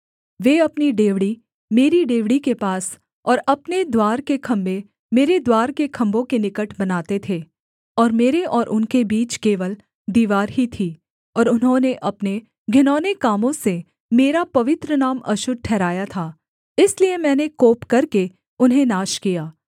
वे अपनी डेवढ़ी मेरी डेवढ़ी के पास और अपने द्वार के खम्भे मेरे द्वार के खम्भों के निकट बनाते थे और मेरे और उनके बीच केवल दीवार ही थी और उन्होंने अपने घिनौने कामों से मेरा पवित्र नाम अशुद्ध ठहराया था इसलिए मैंने कोप करके उन्हें नाश किया